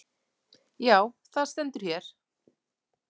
Já, það stendur hér.